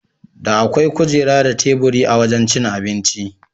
Da akwai kujera da teburi a wajan cin abinci.